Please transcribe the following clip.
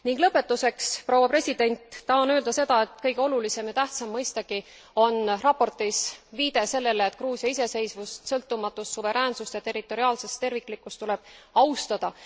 Ning lõpetuseks, proua president, tahan öelda seda, et kõige olulisem ja tähtsam mõistagi on raportis viide sellele, et Gruusia iseseisvust, sõltumatust, suveräänsust ja territoriaalset terviklikkust tuleb austada.